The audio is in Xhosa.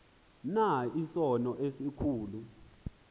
na isono esikhulu